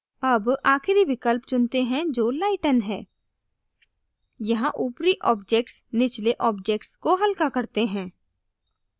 अब आखिरी विकल्प चुनते हैं जो lighten है यहाँ ऊपरी objects निचले objects को हल्का करते हैं